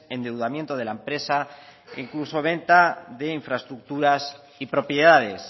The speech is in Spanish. endeudamiento de la empresa e incluso venta de infraestructuras y propiedades